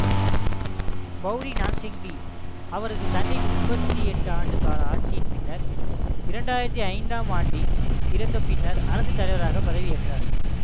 Pauri Gnassingbe அவரது தந்தையின் முப்பத்தி எட்டு ஆண்டு கால ஆட்சியின் பின்னர் இரண்டு ஆயிரத்தி ஐந்தாம் ஆண்டில் இறந்த பின்னர் அரசுத்தலைவராகப் பதவியேற்றார்